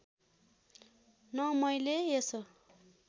न मैले यसो